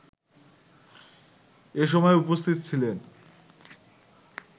এসময় উপস্থিত ছিলেন